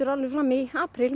fram í apríl